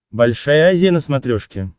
большая азия на смотрешке